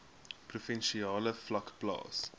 provinsiale vlak plaas